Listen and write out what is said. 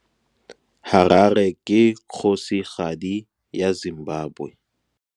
Harare ke kgosigadi ya Zimbabwe.